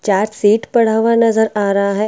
Chart sheet पड़ा हुआ नजर आ रहा है।